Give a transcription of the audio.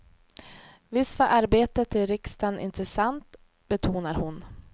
Visst var arbetet i riksdagen intressant, betonar hon.